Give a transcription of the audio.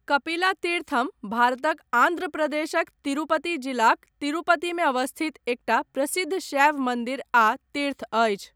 कपिला तीर्थम भारतक आन्ध्र प्रदेशक तिरुपति जिलाक तिरुपतिमे अवस्थित एकटा प्रसिद्ध शैव मन्दिर आ तीर्थ अछि।